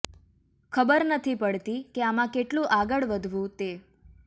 ખબર નથી પડતી કે આમાં કેટલુ આગળ વધવુ તે